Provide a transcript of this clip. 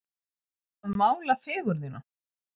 Að mála fegurðina